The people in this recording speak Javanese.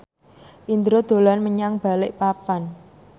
Indro dolan menyang Balikpapan